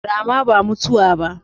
Rama ba mutuwa ba.